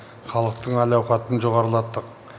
халықтың әл ауқатын жоғарылаттық